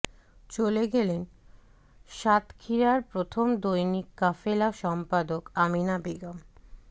চলে গেলেন সাতক্ষীরার প্রথম দৈনিক কাফেলা সম্পাদক আমিনা বেগম